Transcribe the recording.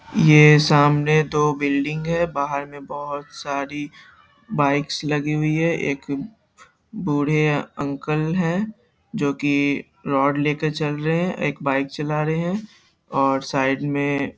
ये ए सामने दो बिल्डिंग है बाहर में बोहत सारी बाइकस लगी हुई है एक बूढ़े अंकल हैं जो कि रोड लेकर चल रहे हैं एक बाइक चला रहे हैं और साइड में --